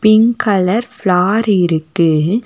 இங் colour floor இருக்கு.